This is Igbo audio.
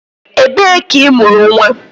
Ebee ka imuru nwa?